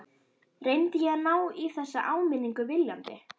Reyndi ég að ná í þessa áminningu viljandi?